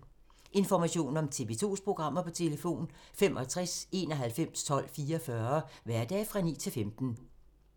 Information om TV 2's programmer: 65 91 12 44, hverdage 9-15.